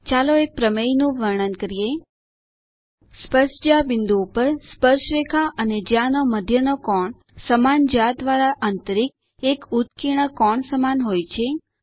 ચાલો એક પ્રમેય નું વર્ણન કરીએ સ્પર્શજ્યા બિંદુ ઉપર સ્પર્શરેખા અને જ્યા નો મધ્ય નો કોણ સમાન જ્યા દ્વારા અંતરિત એક ઉત્કીર્ણ કોણ સમાન હોય છે